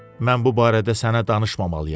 Mən bu barədə sənə danışmayacam.